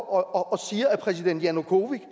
og siger at præsident janukovitj